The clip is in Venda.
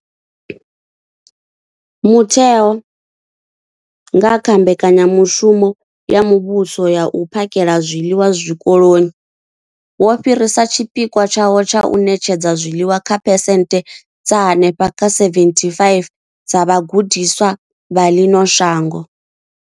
Mutheo, nga kha Mbekanyamushumo ya Muvhuso ya U phakhela zwiḽiwa Zwikoloni, wo fhirisa tshipikwa tshawo tsha u ṋetshedza zwiḽiwa kha phesenthe dza henefha kha 75 dza vhagudiswa vha ḽino shango.